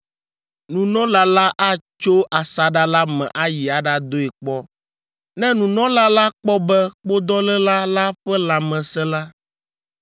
Nunɔla la atso asaɖa la me ayi aɖadoe kpɔ. Ne nunɔla la kpɔ be kpodɔléla la ƒe lãme sẽ la,